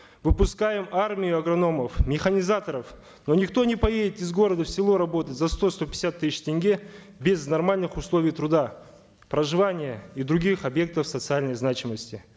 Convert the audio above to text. выпускаем армию агрономов механизаторов но никто не поедет из города в село работать за сто сто пятьдесят тысяч тенге без нормальных условий труда проживания и других объектов социальной значимости